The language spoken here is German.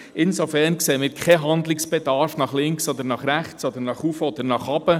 Insofern sehen wir keinen Handlungsbedarf nach links oder nach rechts, oder nach oben oder nach unten.